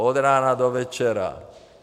Od rána do večera.